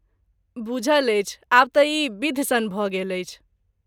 बूझल अछि आब तँ ई बिधि सन भऽ गेल अछि